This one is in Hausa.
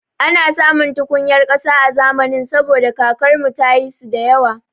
Ana samun tukunyar ƙasa a zamanin saboda kakar mu ta yi su da yawa